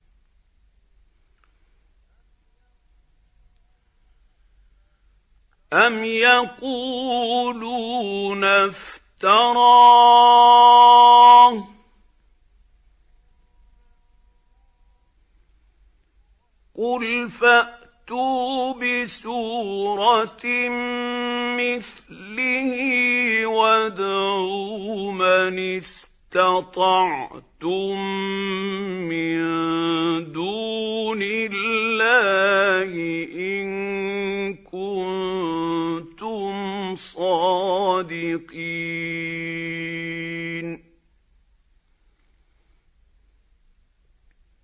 أَمْ يَقُولُونَ افْتَرَاهُ ۖ قُلْ فَأْتُوا بِسُورَةٍ مِّثْلِهِ وَادْعُوا مَنِ اسْتَطَعْتُم مِّن دُونِ اللَّهِ إِن كُنتُمْ صَادِقِينَ